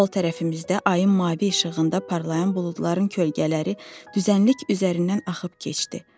Sol tərəfimizdə ayın mavi işığında parlayan buludların kölgələri düzənlik üzərindən axıb getdi.